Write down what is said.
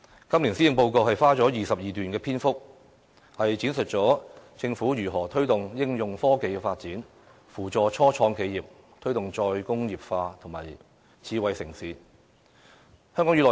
今年施政報告花了22段篇幅，闡述了政府如何推動應用科技發展、扶助初創企業、推動"再工業化"和發展智慧城市。